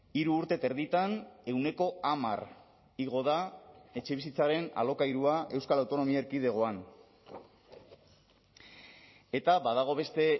hiru urte eta erditan ehuneko hamar igo da etxebizitzaren alokairua euskal autonomia erkidegoan eta badago beste